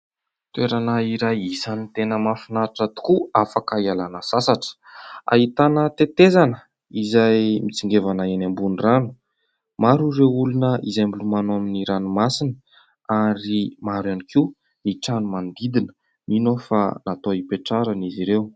Toerana isany tena mahafinaritra tokoa afaka hialana sasatra, ahitana tetezana izay mitsingevana eny ambony rano. Maro ireo olona izay milomano amin'ny ranomasina ary maro ihany koa ny trano manodidina mino aho fa natao hipetrahana izy ireo.